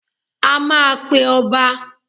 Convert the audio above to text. A máa pe ọba.